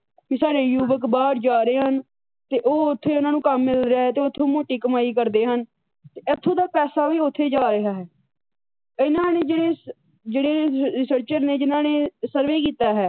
ਤੇ ਸਾਡੇ ਯੂਵਕ ਬਾਹਰ ਜਾ ਰਹੇ ਹਨ ਤੇ ਉਹ ਉੱਥੇ ਉਹਨਾ ਨੂੰ ਕੰਮ ਮਿਲ ਰਿਹਾ ਤੇ ਉਹ ਉੱਥੇ ਮੋਟੀ ਕਮਾਈ ਕਰਦੇ ਹਨ ਤੇ ਇੱਥੋ ਦਾ ਪੈਸਾ ਵੀ ਉੱਥੇ ਜਾ ਰਿਹਾ ਹੈ। ਇਹਨਾ ਨੇ ਜਿਹੜੇ ਜਿਹੜੇ ਰਿਸਰਚਰ ਨੇ ਜਿਹਨਾਂ ਨੇ ਸਰਵੇ ਕੀਤਾ ਹੈ।